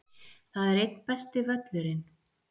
Það er einn besti völlurinn.